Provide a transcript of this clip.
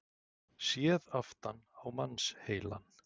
séð aftan á mannsheilann